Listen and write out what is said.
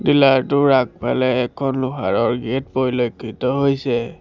পিলাৰটোৰ আগফালে এখন লোহাৰৰ গেট পৰিলক্ষিত হৈছে।